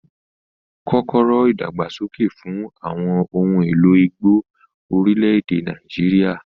Kọ́kọ́rọ́ ìdàgbàsókè fún àwọn ohun èlò igbó orílẹ̀-èdè Nàìjíríà.